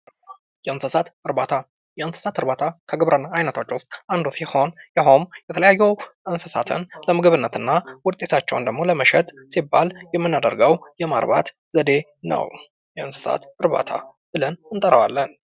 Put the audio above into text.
የእንስሳት እርባታ የእንስሳት እርባታ ከግብርና አይነቶች ውስጥ አንዱ ሲሆን ይህም የተለያዩ እንስሳትን ለምግብነት እና ውጤታቸውንም ለመሸጥ ሲባል የምድርገው የማርባት ዘዴ ነው። የእንስሳት እርባታ ብለን እንጠራዋለን።